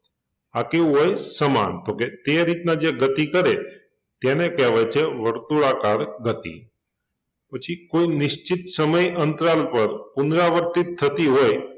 આ કેવુ હોય? સમાન તો કે તે રીતના જે ગતિ કરે તેને કહેવાય છે વર્તુળાકાર ગતિ પછી કોઈ નિશ્ચિત સમય અંતરાલ પર પુનરાવર્તિત થતી હોય